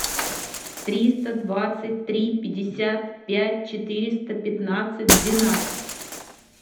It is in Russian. триста двадцать три пятьдесят пять четыреста пятнадцать двенадцать